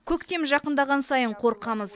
көктем жақындаған сайын қорқамыз